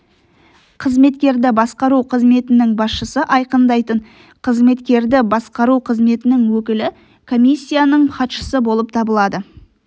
қызметкерді басқару қызметінің басшысы айқындайтын қызметкерді басқару қызметінің өкілі комиссияның хатшысы болып табылады